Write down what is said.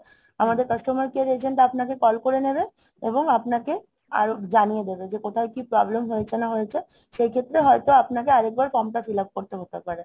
আমাদের customer care agent আপনাকে call করে নেবে এবং আপনাকে আরো জানিয়ে দেবে যে কোথায় কি problem হয়েছে না হয়েছে। সেই ক্ষেত্রে হয় তো আপনাকে আর একবার form টা fill up করতে হতে পারে